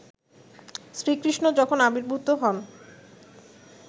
শ্রীকৃষ্ণ যখন আবির্ভূত হন